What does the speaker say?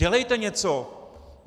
Dělejte něco.